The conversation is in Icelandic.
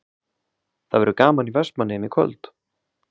Það verður gaman í Vestmannaeyjum í kvöld?